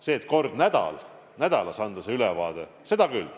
See, et kord nädalas anda see ülevaade, seda küll.